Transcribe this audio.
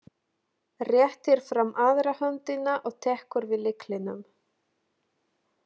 Réttir fram aðra höndina og tekur við lyklinum.